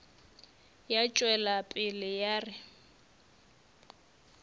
ya tšwela pele ya re